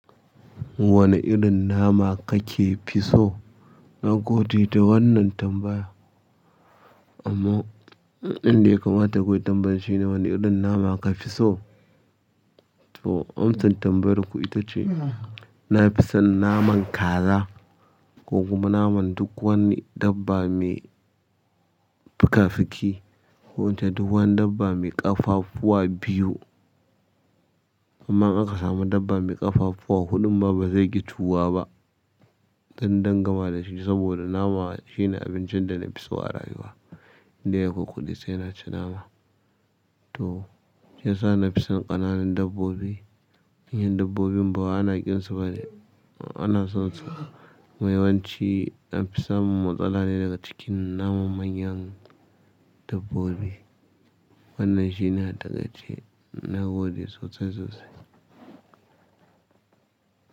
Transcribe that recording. Wane irin nama kake fi so? Na gode da wannan tambaya. Amma inda ya kamata kuyi tambayar shine wane irin nama ka fi so? To amsan tambayar ku ita ce, na fi son naman kaza ko kuma naman duk wani dabba mai fikafiki ko ince duk wani dabba mai ƙafafuwa biyu. Amma in aka samu dabba mai ƙafafuwa huɗun ma ba zai ƙi ciyuwa ba. Zanyi gaddama dashi sabida nama shine abincin dana fi so a rayuwa kullum sai naci nama to shiyasa nafi son ƙananun dabbobi. Manyan dabbobin ba wai ana ƙin su ba ne, ana son su. Wai wanci an fi samun matsala ne daga cikin naman manyan dabbobi. Wannan shine a taƙaice ce, na gode sosai sosai.